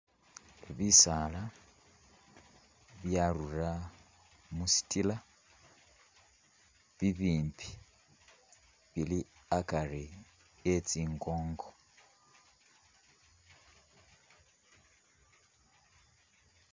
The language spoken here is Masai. Bisaala byarura mushitila bibimbi bili akari e tsingongo.